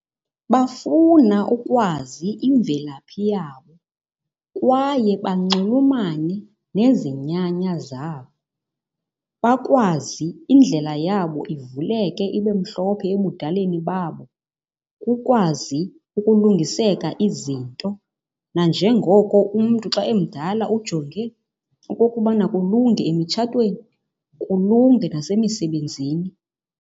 Bafuna ukwazi imvelaphi yabo kwaye banxulumane nezinyanya zabo. Bakwazi indlela yabo ivuleke ibe mhlophe ebudaleni babo kukwazi ukulungiseka izinto nanjengoko umntu xa emdala ujonge okokubana kulunge emitshatweni kulunge nasemisebenzini.